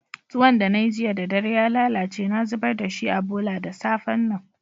Tuwon da na yi jiya da dare ya lallace na zubar da shi a bolla da safe'n nan.